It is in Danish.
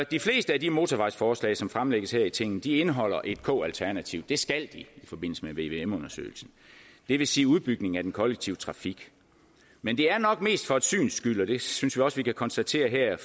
de fleste af de motorvejsforslag som fremlægges her i tinget indeholder et k alternativ det skal de i forbindelse med vvm undersøgelsen det vil sige udbygning af den kollektive trafik men det er nok mest for et syns skyld og det synes vi også vi kan konstatere her